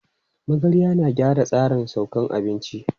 Magarya na gyara tsarin saukan abinci.